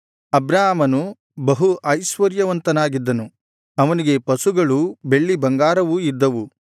ಅಬ್ರಾಮನು ಬಹು ಐಶ್ವರ್ಯವಂತನಾಗಿದ್ದನು ಅವನಿಗೆ ಪಶುಗಳೂ ಬೆಳ್ಳಿಬಂಗಾರವೂ ಇದ್ದವು